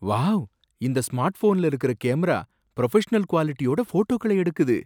Wow! இந்த ஸ்மார்ட்ஃபோன்ல இருக்கற கேமரா புரொஃபஷனல் குவாலிட்டியோட போட்டோக்களை எடுக்குது.